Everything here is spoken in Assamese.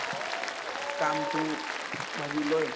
কামটো ভাবি লয়